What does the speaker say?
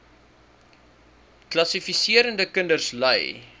kwalifiserende kinders ly